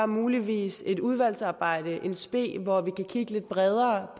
muligvis et udvalgsarbejde in spe hvor vi kan kigge lidt bredere